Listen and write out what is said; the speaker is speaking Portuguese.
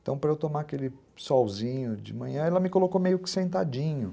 Então, para eu tomar aquele solzinho de manhã, ela me colocou meio que sentadinho.